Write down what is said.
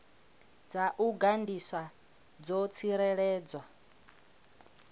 dza u gandiswa dzo tsireledzwa